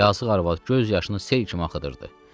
Yazıq arvad göz yaşını sel kimi axıdırdı.